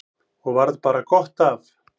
Og varð bara gott af.